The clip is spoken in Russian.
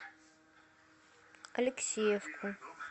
алексеевку